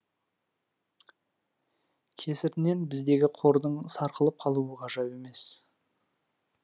кесірінен біздегі қордың сарқылып қалуы ғажап емес